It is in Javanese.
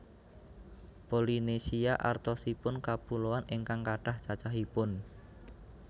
Polynesia artosipun kapuloan ingkang kathah cacahipun